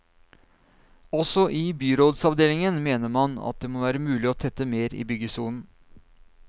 Også i byrådsavdelingen mener man at det må være mulig å tette mer i byggesonen.